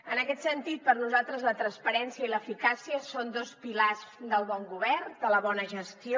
en aquest sentit per nosaltres la transparència i l’eficàcia són dos pilars del bon govern de la bona gestió